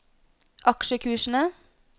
aksjekursene